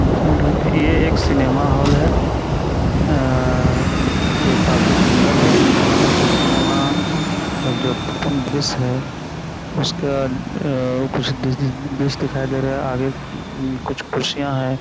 धुर-धुर के ये एक सिनेमा हॉल है। अ जो काफी सुंदर है। इसमें कुछ सिनेमा अ जो ओपन डिश है। उसका अ ऊपर से डिश दिखाई दे रहा है। आगे कुछ कुर्सियां है।